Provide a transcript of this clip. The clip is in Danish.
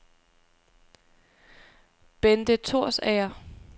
Benthe Thorsager